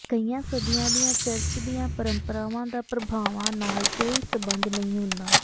ਕਈ ਸਦੀਆਂ ਦੀਆਂ ਚਰਚ ਦੀਆਂ ਪਰੰਪਰਾਵਾਂ ਦਾ ਪ੍ਰਭਾਵਾਂ ਨਾਲ ਕੋਈ ਸੰਬੰਧ ਨਹੀਂ ਹੁੰਦਾ